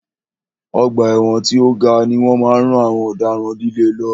Ọgbà ẹ̀wọ̀n tí o ga ni wọ́n máa ń rán àwọn ọ̀daràn líle lọ.